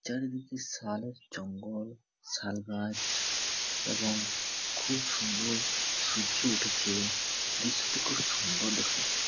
চারিদিকে শালের জঙ্গল। শাল গাছ এবং খুব সুন্দর সূর্য উঠেছে। দৃশ্যটি খুব সুন্দর দেখাচ্ছে। .